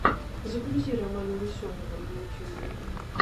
загрузи романа веселого на ютьюбе